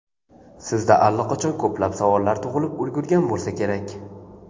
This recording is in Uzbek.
Sizda allaqachon ko‘plab savollar tug‘ilib ulgurgan bo‘lsa kerak.